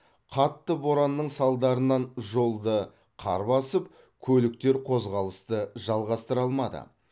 қатты боранның салдарынан жолды қар басып көліктер қозғалысты жалғастыра алмады